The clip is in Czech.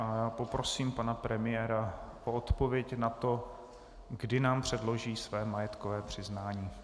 Já poprosím pana premiéra o odpověď na to, kdy nám předloží své majetkové přiznání.